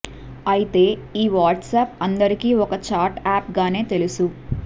అయితే ఈ వాట్సాప్ అందరికి ఒక చాట్ యాప్గానే తెలుసు